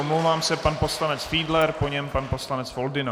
Omlouvám se, pan poslanec Fiedler, po něm pan poslanec Foldyna.